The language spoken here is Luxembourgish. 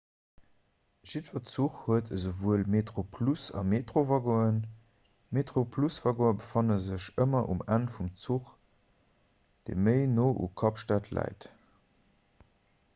jiddwer zuch huet esouwuel metroplus a metrowaggonen d'metroplus-waggone befanne sech ëmmer um enn vum zuch dee méi no u kapstad läit